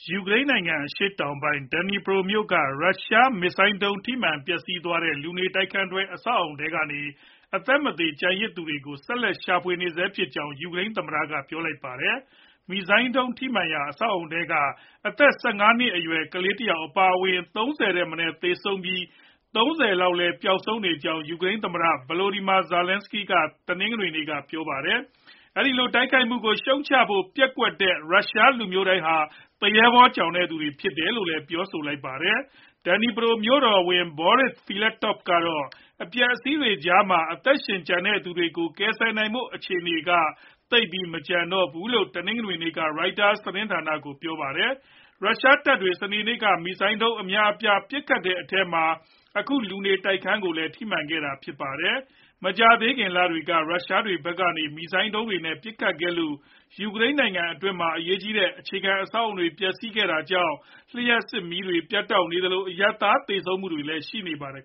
ယူကရိန်းနိုင်ငံ အရှေ့တောင်ပိုင်း Dnipro မြို့က ရုရှားမစ်ဇိုင်းဒုံး ထိမှန်ပျက်စီးသွားတဲ့ လူနေတိုက်ခန်းတွဲ အဆောက်အဦထဲက အသက်မသေ ကျန်သူတွေကို ဆက်လက်ရှာဖွေနေဆဲဖြစ်ကြောင်း ယူကရိန်းသမ္မတက ပြောလိုက်ပါတယ်။ မစ်ဇိုင်းဒုံး ထိမှန်ရာက အဆောက်အဦထဲမှာ အသက် ၁၅ နှစ်အရွယ် ကလေးတယောက် အပါအဝင် ၃၀ ထက်မနည်း သေဆုံးပြီး၊ ၃၀ လောက် ပျောက်ဆုံးနေကြောင်း ယူကရိန်း သမ္မတ Volodymyr Zelenskiy က တနင်္ဂနွေနေ့က ပြောပါတယ်။ အဲဒီလို တိုက်ခိုက်မှုကို ရှုတ်ချဖို့ ပျက်ကွက်တဲ့ ရုရှားလူမျိုးတိုင်းဟာ သူရဲဘောကြောင်သူတွေ သာဖြစ်တယ်လို့လည်း ပြောဆိုလိုက်ပါတယ်။ Dnipro မြို့တော်ဝန် Borys Filatov ကတော့ အပျက်အစီးတွေကြားမှာ အသက်ရှင်ကျန်ခဲ့သူတွေကို ကယ်ဆယ်နိုင်ဖို့ အခြေအနေက သိပ်မရှိတော့ဘူးလို့ တနင်္ဂနွေနေ့က Reuteurs သတင်းဌာနကို ပြောပါတယ်။ ရုရှားတပ်တွေ စနေနေ့က မစ်ဇိုင်းဒုံး အများအပြား ပစ်ခတ်ခဲ့တဲ့အထဲမှာ အခုလူနေထိုက်ခန်းကိုလည်း ထိမှန်ခဲ့တာပါ။ မကြာသေးခင် လတွေက ရုရှားဖက်ကနေ မစ်ဇိုင်းဒုံးတွေနဲ့ ပစ်ခတ်ခဲ့လို့ ယူကရိန်းနိုင်ငံအတွင်းမှာ အရေးကြီးတဲ့ အခြေခံ အဆောက်အဦတွေ ပျက်စီးခဲ့ရတာကြောင့် လျှပ်စစ်မီးတွေ ပြတ်တောက်နေသလို၊ အရပ်သားသေဆုံးမှုတွေလည်း ရှိနေပါတယ်